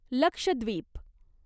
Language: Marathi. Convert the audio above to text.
लक्षद्वीप